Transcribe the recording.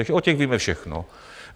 Takže o těch víme všechno.